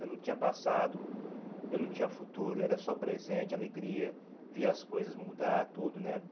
Eu não tinha passado, eu não tinha futuro, era só presente, alegria, via as coisas mudar, tudo, né?